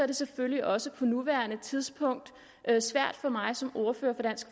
det selvfølgelig også på nuværende tidspunkt svært for mig som ordfører